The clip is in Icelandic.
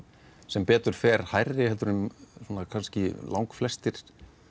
sem betur fer hærri en kannski langflestir